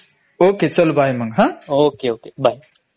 okay okay bye